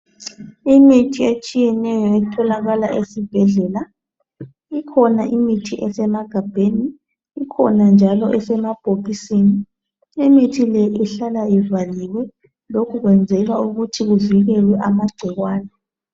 Imithi etshiyeneyo etholakala esibhedlela. lkhona imithi esemagabheni. Ikhona njalo esemabhokisini. Imithi le ihlala ivaliwe. Lokhu kwenzelwa ukuthi kuvikelwe amagcikwane.